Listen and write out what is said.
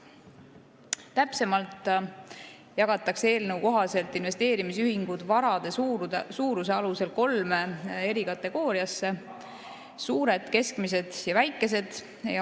Täpsemalt jagatakse eelnõu kohaselt investeerimisühingud varade suuruse alusel kolme kategooriasse: suured, keskmised ja väikesed.